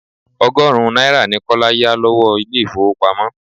Ọgọ́rùn-ún náírà ni Kọ́lá yà lọ́wọ́ ilé ifowopamo.